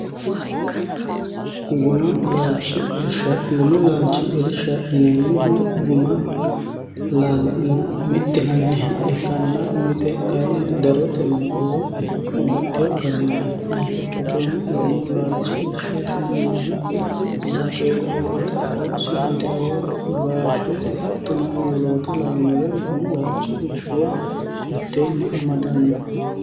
gumu laalchi irsha ineemmohu guma laalenna mixxinanniha ikkanna mite kayinni darotenni woy abbaxxiyo garinni afi'naata ikki turono gumu laalchi irsha tineemmohu baaqeela oata rao sindeoo gashe axxono woloota lawinorehu gumu laalchi irshuwa mitteenni amadanno